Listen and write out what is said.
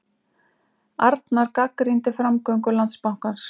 Arnar gagnrýndi framgöngu Landsbankans